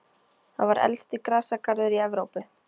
Það var elsti grasagarður í Evrópu.